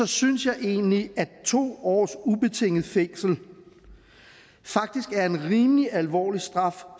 synes jeg egentlig at to års ubetinget fængsel faktisk er en rimelig alvorlig straf